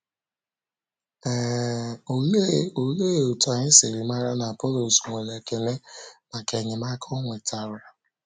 um Ólee Ólee otú anyị si màrà na Apọlọs nwere ekele maka enyemaka ọ nwetara?